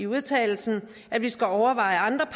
vedtagelse at vi skal overveje andre